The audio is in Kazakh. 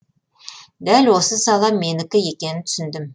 дәл осы сала менікі екенін түсіндім